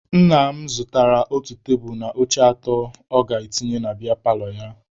Nna m zụtara otu tebulu na oche atọ ọ ga-etinye na biya paalọ ya.